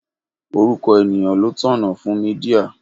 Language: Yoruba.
Orúkọ ènìyàn ló tọ̀nà fún Mídíà.